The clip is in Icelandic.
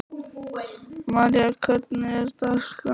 María, hvernig er dagskráin?